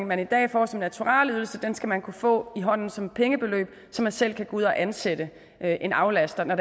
man i dag får som naturalieydelser skal man kunne få i hånden som pengebeløb så man selv kan gå ud og ansætte en aflaster når